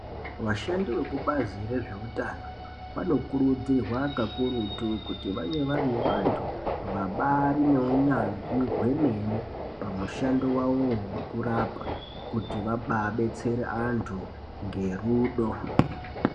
Vashandi vekubazi rezveutano vanokurudzirwa kakurutu kuti vange vari vantu vabaari neunyanzvi hwemene pamushando wavowo wekurapa pakuti vababetsere antu ngerudo.